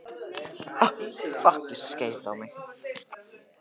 Nema að hún vekti og hugsaði til hans.